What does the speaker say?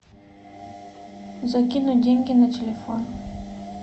закинуть деньги на телефон